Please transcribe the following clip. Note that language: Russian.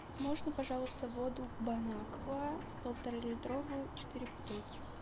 можно пожалуйста воду бон аква полтора литровую четыре бутылки